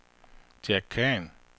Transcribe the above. Jack Khan